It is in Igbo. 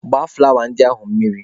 Gbaa fụlawa ndị ahụ mmiri!.